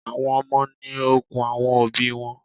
Àwọn Ọmọ ni okun àwọn òbí wọn.